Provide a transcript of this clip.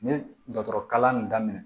N ye dɔkɔtɔrɔ kalan in daminɛ